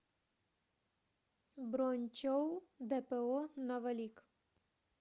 бронь чоу дпо новолик